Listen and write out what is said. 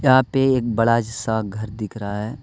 पे एक बड़ा सा घर दिख रहा है।